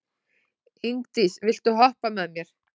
Ingdís, viltu hoppa með mér?